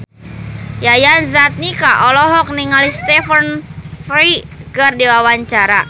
Yayan Jatnika olohok ningali Stephen Fry keur diwawancara